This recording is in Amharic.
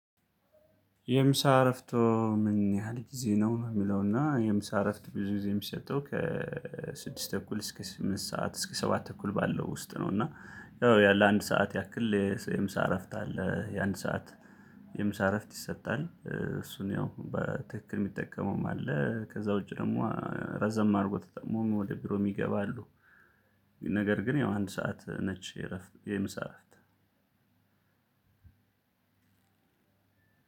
የምሳ እረፍት ምን ያህል ጊዜ ነው? የሚለውና የምሳ እረፍት ብዙ ጊዜ የሚሰጠው ከስድስት ስድስት ተኩል እስከ ስምንት ሰዓት እስከ ሰባት ተኩል ባለው ውስጥ ነው እና ያለ አንድ ሰዓት ያክል የምሳ እረፍት አለ የአንድ ሰዓት። የምሳ እረፍት ይሰጣል እሱን ያው በትክክል የሚጠቀመውም አለ። ከዛ ውጪ ደግሞ ረዘም አድርጎ ተጠቅሞ ወደ ቢሮ የሚገባ አሉ። ነገር ግን ያው አንድ ሰዓት ነች። የምሳ እረፍት